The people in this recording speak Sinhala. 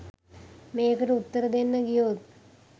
මේකට උත්තර දෙන්න ගියොත්